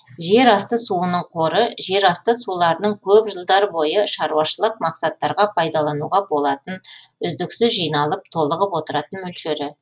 жер асты суының қоры жер асты суларының көп жылдар бойы шаруашылық мақсаттарға пайдалануға болатын үздіксіз жиналып толығып отыратын мөлшері